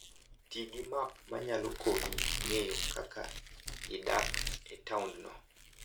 Ti gi map ma nyalo konyi ng'eyo kaka idak e taondno.